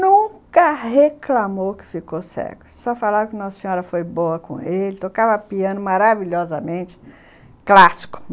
Nunca reclamou que ficou cego, só falava que Nossa Senhora foi boa com ele, tocava piano maravilhosamente clássico.